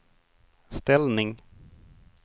ställning